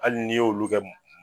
Ali ni y'olu kɛ